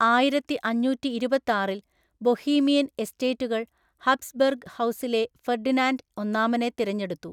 ആയിരത്തിഅഞ്ഞൂറ്റിഇരുപത്താറില്‍, Bohemian എസ്റ്റേറ്റുകൾ Habsburg ഹൗസിലെ Ferdinand ഒന്നാമനെ തിരഞ്ഞെടുത്തു.